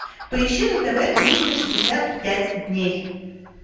поищи на тв триста шестьдесят пять дней